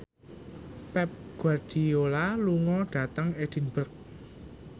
Pep Guardiola lunga dhateng Edinburgh